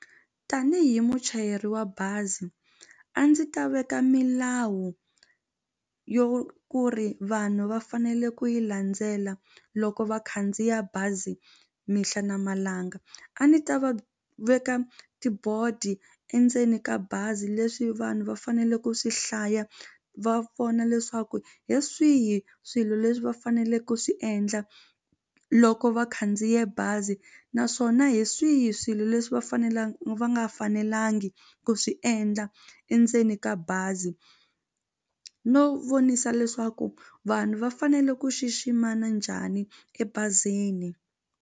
Tanihi muchayeri wa bazi a ndzi ta veka milawu yo ku ri vanhu va fanele ku yi landzela loko va khandziya bazi mihla na malanga a ndzi ta va veka tibodi endzeni ka bazi leswi vanhu va fanele ku swi hlaya va vona leswaku hi swihi swilo leswi va faneleke ku swi endla loko va khandziye bazi naswona hi swihi swilo leswi va va nga fanelangi ku swi endla endzeni ka bazi no vonisa leswaku vanhu va fanele ku xiximana njhani ebazini.